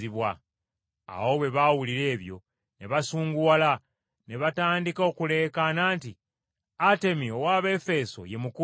Awo bwe baawulira ebyo, ne basunguwala, ne batandika okuleekaana nti, “Atemi ow’Abaefeeso ye Mukulu!”